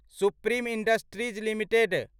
supreme Industries limited